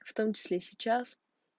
в том числе сейчас